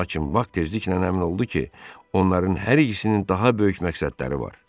Lakin Bak tezliklə əmin oldu ki, onların hər ikisinin daha böyük məqsədləri var.